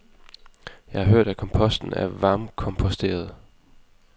Jeg har hørt, at komposten er varmkomposteret.